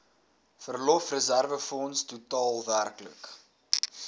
verlofreserwefonds totaal werklik